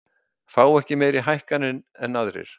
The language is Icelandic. Fá ekki meiri hækkanir en aðrir